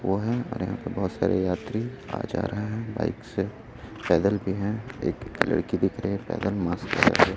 वो है और यहाँ पे बहुत सारे यात्री आ-जा रहे हैं बाइक से पैदल भी हैं एक लड़की दिख रही पैदल मास्क लगा के।